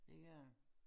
Det gør det